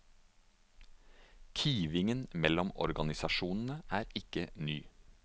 Kivingen mellom organisasjonene er ikke ny.